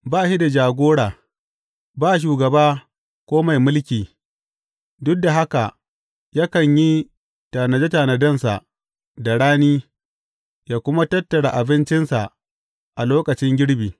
Ba shi da jagora ba shugaba ko mai mulki, duk da haka yakan yi tanade tanadensa da rani ya kuma tattara abincinsa a lokacin girbi.